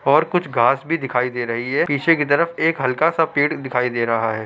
और कुछ घास भी दिखाई दे रही है। पीछे की तरफ एक हल्का सा पेड़ दिखाई दे रहा है।